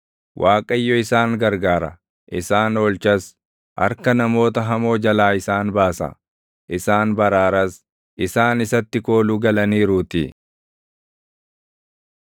Waaqayyo isaan gargaara; isaan oolchas; harka namoota hamoo jalaa isaan baasa; isaan baraaras; isaan isatti kooluu galaniiruutii.